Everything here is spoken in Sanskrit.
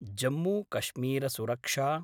जम्मूकश्मीरसुरक्षा